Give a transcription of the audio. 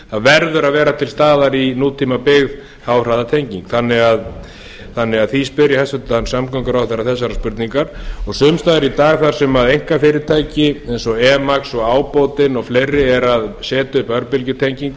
það verður að vera til staðar í nútímabyggð háhraðatenging þannig að því spyr ég hæstvirtan samgönguráðherra þessarar spurningar og sums staðar í dag þar sem einkafyrirtæki eins og emax ábótinn og fleiri eru að setja upp